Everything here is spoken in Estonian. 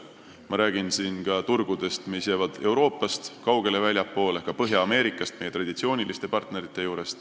Ma pean silmas ka turgusid, mis jäävad Euroopast kaugele ja väljapoole ka Põhja-Ameerikat, kus on meie traditsioonilised partnerid.